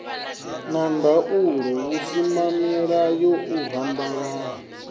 na ndaulo vhusimamilayo u rambalala